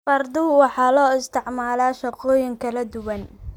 Fardaha waxaa loo isticmaalaa shaqooyin kala duwan.